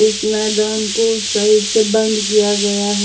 इस मैदान कोसाइड से बंद किया गया है।